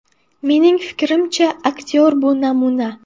Mening fikrimcha, aktyor bu namuna.